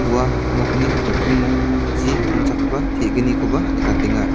ua nokni nokningo chi donchakgipa te·gnikoba nikatenga.